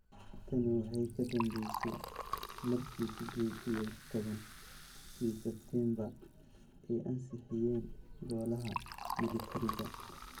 Tani waxay ka dambeysay markii Sided iyo toban-kii Sebtembar ay ansixiyeen golaha militariga.